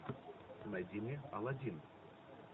найди мне аладдин